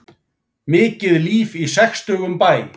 Mikið líf í sextugum bæ